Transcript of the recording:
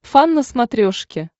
фан на смотрешке